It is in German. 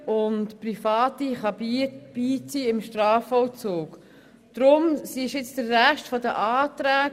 Auch können im Strafvollzug Private beigezogen werden.